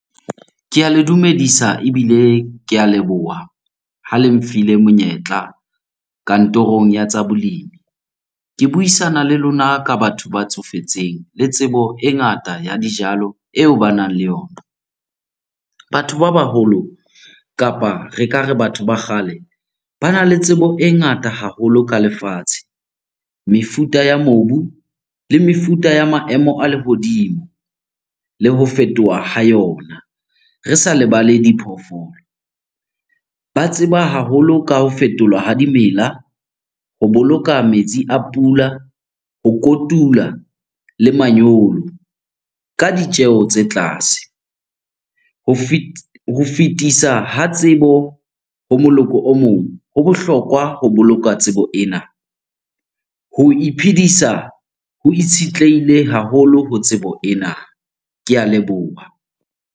Ke a le dumedisa ebile ke a leboha ha le nfile monyetla kantorong ya tsa bolemi. Ke buisana le lona ka batho ba tsofetseng le tsebo e ngata ya dijalo eo ba nang le yona. Batho ba baholo kapa re ka re batho ba kgale, bana le tsebo e ngata haholo ka lefatshe, mefuta ya mobu le mefuta ya maemo a lehodimo le ho fetoha ha yona, re sa lebale diphoofolo. Ba tseba haholo ka ho fetolwa ha dimela, ho boloka metsi a pula, ho kotula le manyolo ka ditjeho tse tlase. Ho ho fitisa ha tsebo ho moloko o mong ho bohlokwa ho boloka tsebo ena. Ho iphedisa ho itshitlehile haholo ho tsebo ena. Ke a leboha.